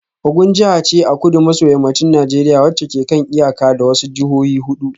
Ogun jiha ce a kudu maso yammacin Najeriya wacce ke kan iyaka da wasu jihohi hudu